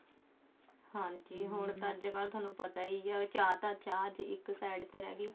ਹਾਂਜੀ ਹੁਣ ਤਾਂ ਅੱਜਕਲ ਥੋਨੂੰ ਪਤਾ ਹੀ ਹੈ ਚਾਹ ਤਾਂ ਚਾਹ ਇੱਕ side ਤੇ ਰਹਿਗੀ